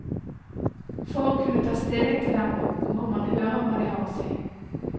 For å kunne ta stilling til dem, må man høre hva de har å si.